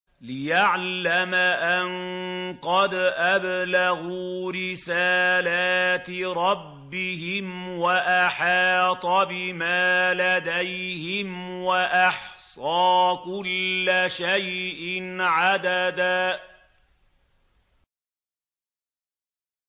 لِّيَعْلَمَ أَن قَدْ أَبْلَغُوا رِسَالَاتِ رَبِّهِمْ وَأَحَاطَ بِمَا لَدَيْهِمْ وَأَحْصَىٰ كُلَّ شَيْءٍ عَدَدًا